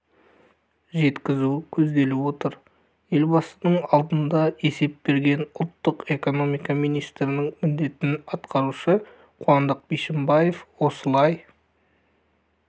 жеткізу көзделіп отыр елбасының алдында есеп берген ұлттық экономика министрінің міндетін атқарушы қуандық бишімбаев осылай